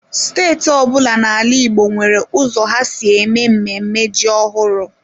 Steeti ọ bụla n'ala Igbo nwere ụzọ ha si eme mmemme ji ọhụrụ.